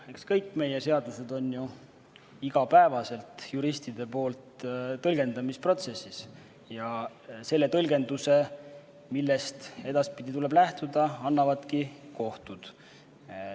Eks kõik meie seadused on ju igapäevaselt juristide seas tõlgendamisprotsessis ja selle tõlgenduse, millest edaspidi tuleb lähtuda, annavad kohtud.